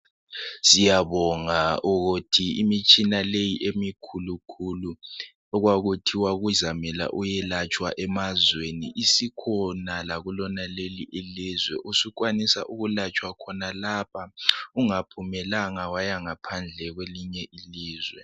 Siyabonga ukuthi imitshina leyi emikhulu khulu okwakuthiwa kuzamele uyelatshwa emazweni isikhona lakulonaleli ilizwe ,usukwanisa ukulatshwa khonalapha ungaphumelanga waya kwelinye ilizwe.